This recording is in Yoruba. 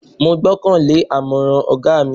Mo gbọ́kan lé àmọ̀ràn ọ̀gá mi.